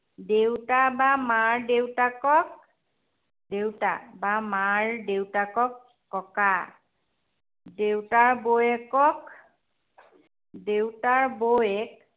দেউতা বা মাৰ দেউতাকক দেউতা বা মাৰ দেউতাকক, ককা। দেউতাৰ বৌয়েকক দেউতাৰ বৌয়েক